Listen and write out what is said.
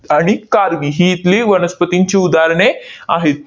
आणि कार्वी ही इथली वनस्पतींची उदाहरणे आहेत.